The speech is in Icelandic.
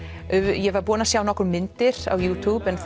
ég var búin að sjá nokkrar myndir á YouTube en